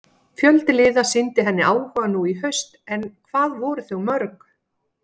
Fjöldi liða sýndi henni áhuga nú í haust en hvað voru þau mörg?